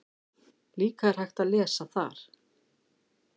Líka er hægt að lesa þar